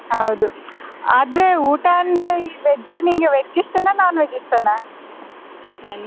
ಹೌದು ಆದ್ರೆ ಊಟ ಅಂದ್ರೆ veg ನಿಂಗೆ veg ಇಷ್ಟನ non-veg ಇಷ್ಟನ.